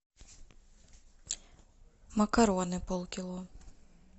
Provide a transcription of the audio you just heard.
макароны полкило